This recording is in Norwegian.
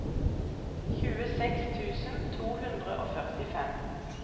tjueseks tusen to hundre og førtifem